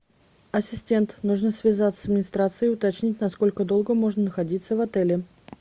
ассистент нужно связаться с администрацией и уточнить насколько долго можно находиться в отеле